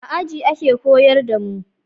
A aji ake koyar da mu